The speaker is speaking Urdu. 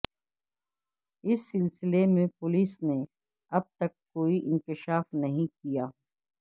اس سلسلے میں پولیس نے اب تک کوئی انکشاف نہیں کیا